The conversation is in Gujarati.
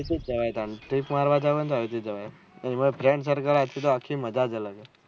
trip જાઉં હોય તો આયી થી જવાય તો એક બાર friend circle આખી તો આખી મજાજ અલગ હોય